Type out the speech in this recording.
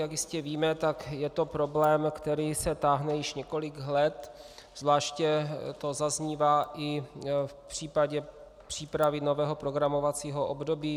Jak jistě víme, tak je to problém, který se táhne již několik let, zvláště to zaznívá i v případě přípravy nového programovacího období.